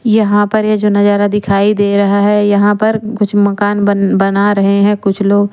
यहां पर ये जो नजारा दिखाई दे रहा है यहां पर कुछ मकान बन बना रहे हैं कुछ लोग।